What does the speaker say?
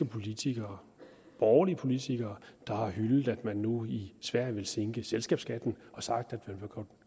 politikere borgerlige politikere der har hyldet at man nu i sverige vil sænke selskabsskatten og sagt at man